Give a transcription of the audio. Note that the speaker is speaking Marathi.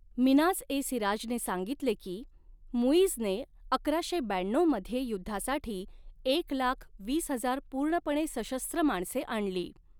मिन्हाज ए सिराजने सांगितले की, मुइझने अकराशे ब्याण्णऊ मध्ये युद्धासाठी एक लाख वीस हजार पूर्णपणे सशस्त्र माणसे आणली.